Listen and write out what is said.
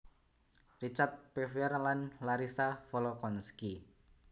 Richard Pevear dan Larissa Volokhonsky